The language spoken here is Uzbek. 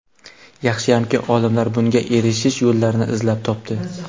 Yaxshiyamki olimlar bunga erishish yo‘llarini izlab topdi.